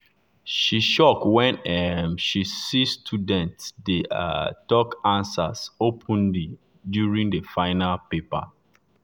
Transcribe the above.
she shock when she um see students dey um talk answers openly during the final paper.